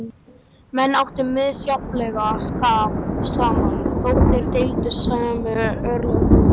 Menn áttu misjafnlega skap saman, þótt þeir deildu sömu örlögum.